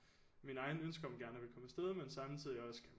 Mine egne ønsker om gerne at ville komme afsted men samtidig også